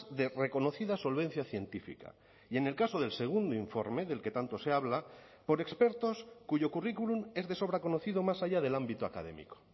de reconocida solvencia científica y en el caso del segundo informe del que tanto se habla por expertos cuyo currículum es de sobra conocido más allá del ámbito académico